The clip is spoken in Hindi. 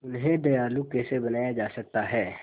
उन्हें दयालु कैसे बनाया जा सकता है